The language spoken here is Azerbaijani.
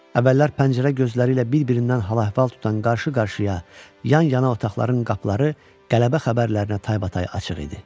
Əvvəllər pəncərə gözləri ilə bir-birindən hal-əhval tutan qarşı-qarşıya, yan-yana otaqların qapıları qələbə xəbərlərinə taybatay açıq idi.